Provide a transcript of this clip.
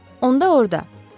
Onda orda.